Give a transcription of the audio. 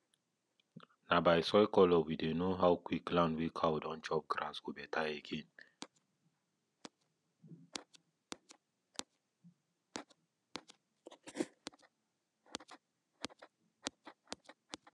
na by soil colour we dey know how quick land wey cow don chop grass go better again